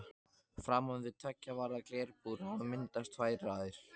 Framan við tveggja varða glerbúr hafa myndast tvær raðir.